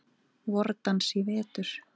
VorDans í vetur.